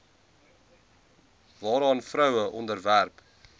waaraan vroue onderwerp